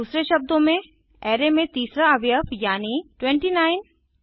दूसरे शब्दों में अराय में तीसरा अवयव यानी 29